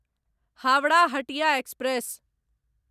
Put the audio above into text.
Howrah Hatia express